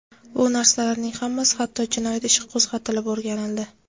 Bu narsalarning hammasi hatto jinoyat ishi qo‘zg‘atilib o‘rganildi.